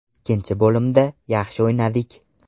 Ikkinchi bo‘limda yaxshi o‘ynadik.